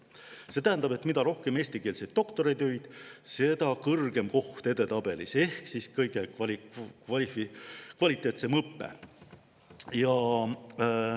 See tähendab, et mida rohkem eestikeelseid doktoritöid, seda kõrgem koht edetabelis ehk siis kõige kvaliteetsem õpe.